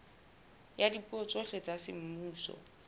ya dipuo tsohle tsa semmuso